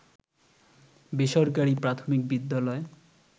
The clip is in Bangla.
বেসরকারি প্রাথমিক বিদ্যালয়